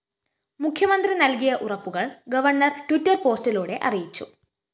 മുഖ്യമന്ത്രി നല്‍കിയ ഉറപ്പുകള്‍ ഗവർണർ ട്വിറ്റർ പോസ്റ്റിലൂടെഅറിയിച്ചു